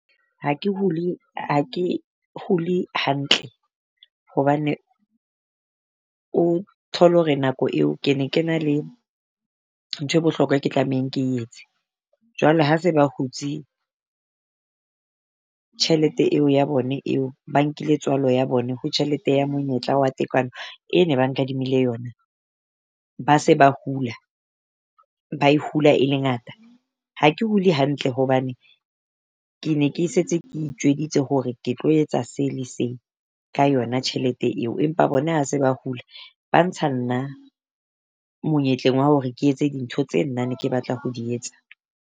Ha ke hule ha ke hule hantle hobane o thole hore nako eo ke ne ke na le nthwe bohlokwa ke tlamehang ke etse. jwale ha se ba hutse tjhelete eo ya bone eo, ba nkile tswalo ya bone hore tjhelete ya monyetla wa tekano e ne ba nkadimile yona, ba se ba hula ba e hula e le ngata. Ha ke hule hantle hobane ke ne ke setse ke itjwetsitse hore ke tlo etsa se le se ka yona tjhelete eo, empa bona ha se ba hula. Ba ntsha nna monyetleng wa hore ke etse dintho tse nna ne ke batla ho di etsa.